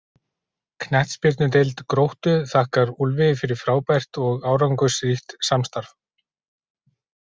Knattspyrnudeild Gróttu þakkar Úlfi fyrir frábært og árangursríkt samstarf.